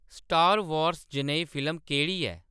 star Wars जनेही film केह्‌‌ड़ी ऐ